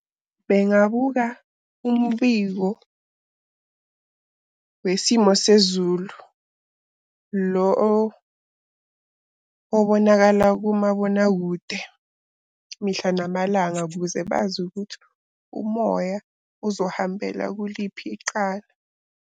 Bengabuka umbiko wesimo sezulu lo obonakala kumabonakude mihla namalanga ukuze bazi ukuthi umoya uzohambela kuliphi iqala.